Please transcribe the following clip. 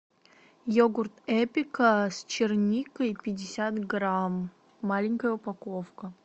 йогурт эпика с черникой пятьдесят грамм маленькая упаковка